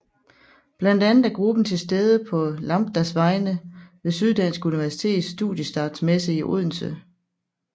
Blandt andet er gruppen til stede på Lambdas vegne ved Syddansk Universitets Studiestartsmesse i Odense